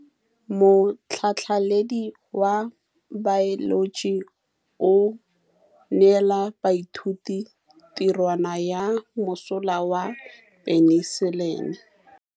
Motlhatlhaledi wa baeloji o neela baithuti tirwana ya mosola wa peniselene.